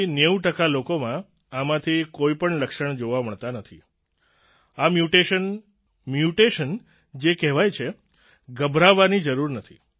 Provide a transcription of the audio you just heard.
8090 ટકા લોકોમાં આમાંથી કોઈપણ લક્ષણ જોવા મળતાં નથી આ મ્યૂટેશન મ્યૂટેશન જે કહેવાય છે ગભરાવાની જરૂર નથી